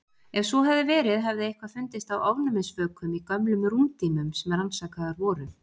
Ef svo hefði verið hefði eitthvað fundist af ofnæmisvökum í gömlum rúmdýnum sem rannsakaðar voru.